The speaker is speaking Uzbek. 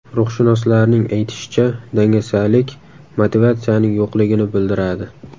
Ruhshunoslarning aytishicha, dangasalik motivatsiyaning yo‘qligini bildiradi.